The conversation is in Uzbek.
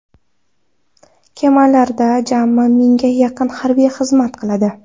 Kemalarda jami mingga yaqin harbiy xizmat qiladi.